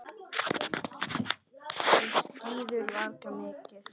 Þú skíðar varla mikið.